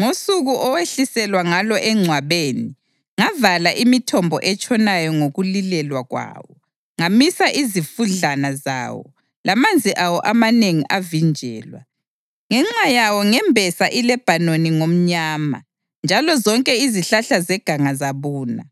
Ngosuku owehliselwa ngalo engcwabeni, ngavala imithombo etshonayo ngokulilelwa kwawo, ngamisa izifudlana zawo, lamanzi awo amanengi avinjelwa. Ngenxa yawo ngembesa iLebhanoni ngomnyama, njalo zonke izihlahla zeganga zabuna.